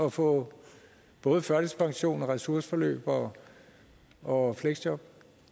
at få både førtidspension ressourceforløb og og fleksjob